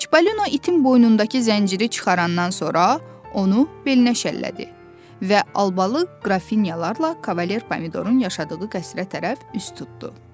Çipalino itim qoynundakı zənciri çıxarandan sonra onu belinə şəllədi və albalı qrafinyalarla Kavalier pomidorun yaşadığı qəsrə tərəf üst tutdu.